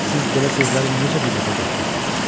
Siz belə sözləri necə dilinizə gətirirsiz?